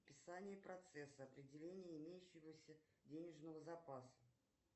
описание процесса определение имеющегося денежного запаса